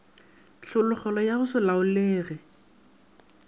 tlhologelo ya go se laolege